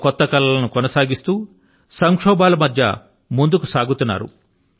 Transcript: తమ కొత్త కలల ను కొనసాగిస్తూ సంక్షోభాల మధ్య ముందుకు సాగుతున్నారు